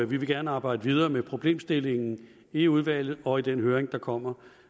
vil gerne arbejde videre med problemstillingen i udvalget og i den høring der kommer